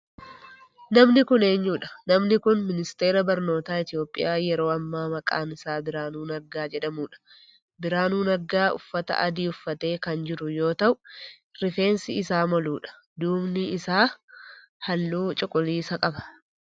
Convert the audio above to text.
Namni kun eeyudhaa? Namni kun ministeera barnootaa Itiyoophiyaa yeroo ammaa maqaan isaa Birahaanuu Naggaa jedhamudha. Birahaanuu Naggaa uffata adii uffatee kan jiru yoo ta,u rifeensii isaa moluudha. Duubni isaa halluu cuquliisa qaba.